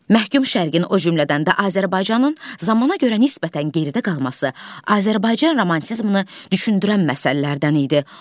Məhkum şərqin, o cümlədən də Azərbaycanın zamana görə nisbətən geridə qalması Azərbaycan romantizmini düşündürən məsələlərdən idi.